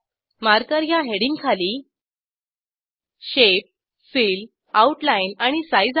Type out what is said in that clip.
marker ह्या heading खाली shape fill outline आणि साइझ आहेत